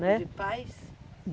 né? De pais?